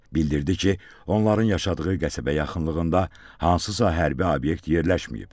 Bildirdi ki, onların yaşadığı qəsəbə yaxınlığında hansısa hərbi obyekt yerləşməyib.